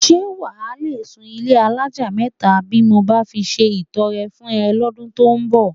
S̩e wà á le sùn ilé alájà mé̩ta bí mo bá fi se ìto̩re̩ fún e̩ ló̩dún tó ń bò̩?